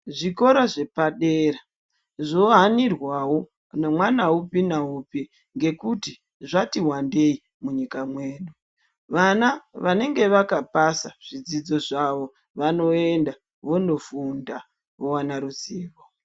Zvikora zvepadera zvohanirwawo nemwana upi naupi ngekuti zvati wandei munyika mwedu , vana vanenge vakapasa zvidzidzo zvavo vanoenda vondofunda vowana ruzivo.